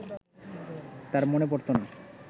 তার মনে পড়ত না